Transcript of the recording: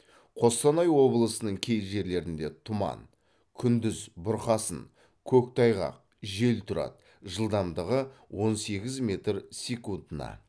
қостанай облысының кей жерлерінде тұман күндіз бұрқасын көктайғақ жел тұрады жылдамдығы он сегіз метр секундына